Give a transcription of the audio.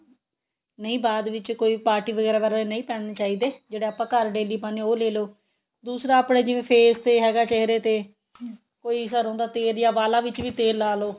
ਨਹੀਂ ਬਾਅਦ ਵਿੱਚ ਕੋਈ party ਵਗੈਰਾ ਵਾਲੇ ਨਹੀਂ ਪਾਨੇ ਚਾਹੀਦੇ ਜਿਹੜੇ ਆਪਾਂ ਘਰ daily ਪਾਂਦੇ ਹਾਂ ਉਹ ਲੈ ਲੋ ਦੂਸਰਾ ਆਪਣੇ ਜਿਵੇਂ face ਤੇ ਹੈਗਾ ਚਿਹਰੇ ਤੇ ਕੋਈ ਸਰੋਂ ਦਾ ਤੇਲ ਤੇ ਵਾਲਾ ਵਿੱਚ ਵੀ ਤੇਲ ਲਾ ਲਵੋ